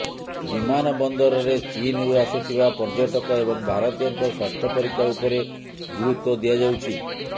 ବିମାନ ବନ୍ଦରରେ ଚୀନରୁ ଆସୁଥିବା ପର୍ଯ୍ୟଟକ ଏବଂ ଭାରତୀୟଙ୍କ ସ୍ୱାସ୍ଥ୍ୟ ପରୀକ୍ଷା ଉପରେ ଗୁରୁତ୍ୱ ଦିଆଯାଉଛି